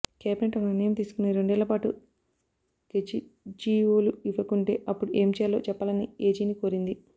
cabinet ఒక నిర్ణయం తీసుకొని రెండేళ్లపాటు గెజిట్జీవోలు ఇవ్వకుంటే అప్పుడు ఏం చేయాలో చెప్పాలని ఏజీని కోరింది